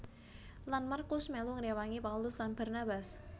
Lan MarkuS melu ngrewangi Paulus lan Barnabas